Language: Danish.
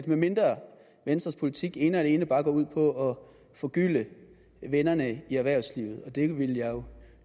medmindre venstres politik ene og alene bare går ud på at forgylde vennerne i erhvervslivet og det vil jeg jo